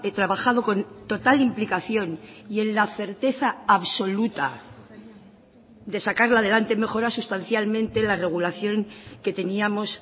trabajado con total implicación y en la certeza absoluta de sacarla adelante mejora sustancialmente la regulación que teníamos